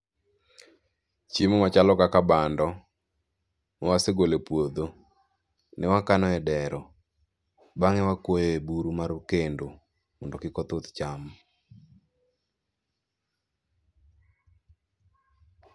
Chiemo machalo kaka bando, kawasegolo e puodho, ne wakano e dero. Bang'e ne wakuoyo e buru mar kendo mondo kik othuth chame.